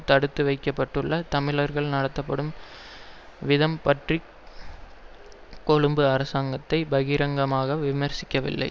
தடுத்து வைக்க பட்டுள்ள தமிழர்கள் நடத்தப்படும் விதம் பற்றி கொழும்பு அரசாங்கத்தை பகிரங்கமாக விமர்சிக்கவில்லை